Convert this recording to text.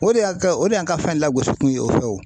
O de y'a kɛ o de y'an ka fɛn lagosi kun ye o fɛ o.